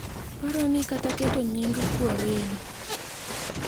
paroni kata keto nying kwereni,